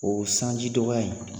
O sanji dɔgɔya in